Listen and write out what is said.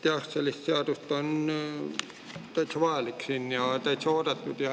Jah, selline seadus on täitsa vajalik ja täitsa oodatud.